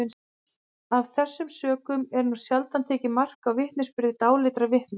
af þessum sökum er nú sjaldan tekið mark á vitnisburði dáleiddra vitna